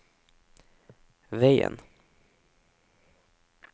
veien